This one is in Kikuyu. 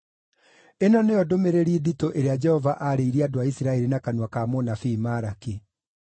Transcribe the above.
Ĩno nĩyo ndũmĩrĩri nditũ ĩrĩa Jehova aarĩirie andũ a Isiraeli na kanua ka mũnabii Malaki.